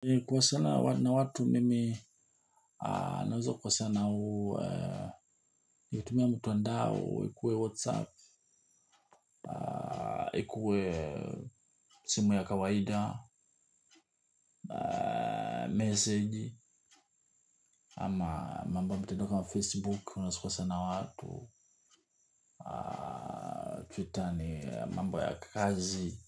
Kukosana na watu mimi na uzo kwa sana huu. Nikutumia mtuandao ikuwe whatsapp. Ikuwe simu ya kawaida Message ama mambo ya mtandao kama facebook unasukwa sana watu Twitter ni mambo ya kazi.